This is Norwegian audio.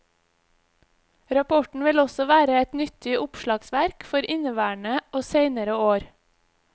Rapporten vil også være et nyttig oppslagsverk for inneværende og seinere år.